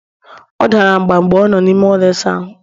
ọ dara mgba mgbe ọ nọ n'ime ụlọ ịsa ahụ